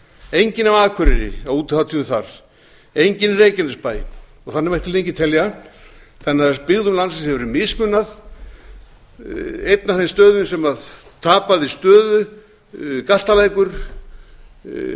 enginn af akureyri á útihátíðum þar enginn í reykjanesbæ og þannig mætti lengi telja þannig að byggðum landsins hefur verið mismunað einn af þeim stöðum sem tapaði stöðu galtalækur ungmennafélög